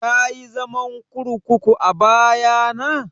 Kayi zaman kurkuku a baya na?